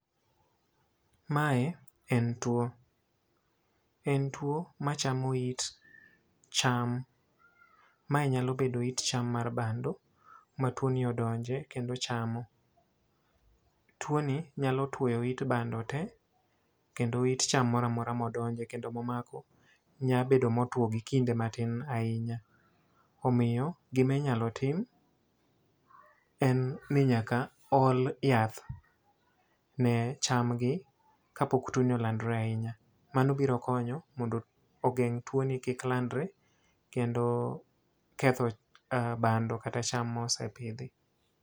Mae en two. En two machamo it cham. Mae nyalo bedo it cham mar bando ma twoni odonje kendo chamo. Two ni nyalo twoyo it bando te, kendo it cham moro amora modonje kendo momako, nyalo bedo motwo gi kinde matin ahinya. Omiyo, gimi nyalo tim, en ni nyaka ol yath ne cham gi, kapok two ni olandore ahinya. Mano biro konyo mondo ogeng' two ni kik landore, kendo ketho um bando kata cham ma osepidhi.